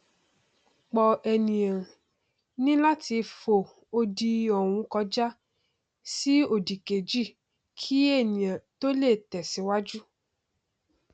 po ènìà ní láti fo odi ọhún kọjá sí òdì kejì kí ènìà tó lè tẹ síwájú